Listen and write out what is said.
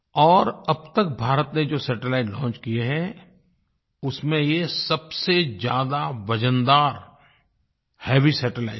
और अब तक भारत ने जो सैटेलाइट लॉन्च किये हैं उसमें ये सबसे ज़्यादा वज़नदार हेवी सैटेलाइट है